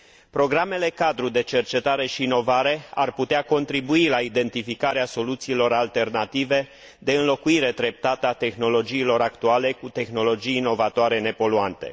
Programele cadru de cercetare și inovare ar putea contribui la identificarea soluțiilor alternative de înlocuire treptată a tehnologiilor actuale cu tehnologii inovatoare nepoluante.